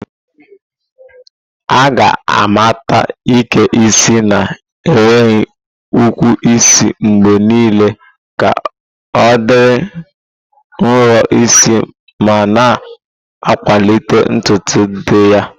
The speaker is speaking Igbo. A ga-amata Ike isi na-enweghị ukwu isi mgbe niile ka ọ dị nro n'isi ma na-akwalite ntutu dị mma.